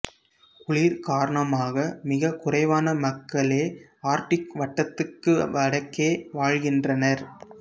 குளிர் காரணமாக மிகக் குறைவான மக்களே ஆர்க்டிக் வட்டத்துக்கு வடக்கே வாழ்கின்றனர்